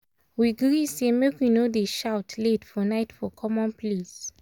we gree say make we no dey shout late for night for common place.